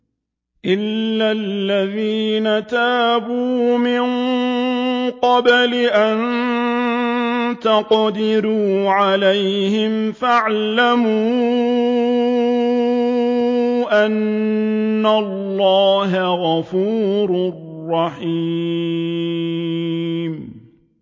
إِلَّا الَّذِينَ تَابُوا مِن قَبْلِ أَن تَقْدِرُوا عَلَيْهِمْ ۖ فَاعْلَمُوا أَنَّ اللَّهَ غَفُورٌ رَّحِيمٌ